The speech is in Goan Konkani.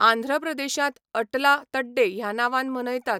आंध्र प्रदेशांत अटला तड्डे ह्या नांवान मनयतात.